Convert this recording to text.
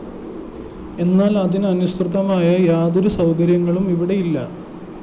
എന്നാല്‍ അതിനനുസൃതമായ യാതൊരു സൗകര്യങ്ങളും ഇവിടെയില്ല